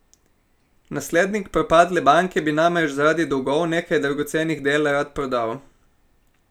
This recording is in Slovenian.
Naslednik propadle banke bi namreč zaradi dolgov nekaj dragocenih del rad prodal.